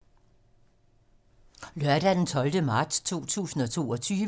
Lørdag d. 12. marts 2022